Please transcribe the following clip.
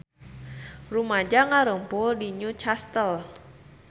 Rumaja ngarumpul di New Castle